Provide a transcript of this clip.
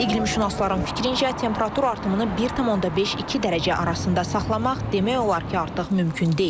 İqlimşünasların fikrincə, temperatur artımını 1,5-2 dərəcə arasında saxlamaq demək olar ki, artıq mümkün deyil.